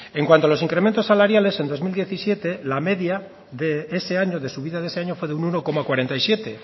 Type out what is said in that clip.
en cuanto a los incrementos salariales en dos mil diecisiete la media de subida de ese año fue de un uno coma cuarenta y siete